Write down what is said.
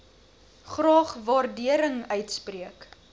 graag waardering uitspreek